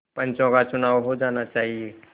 पंचों का चुनाव हो जाना चाहिए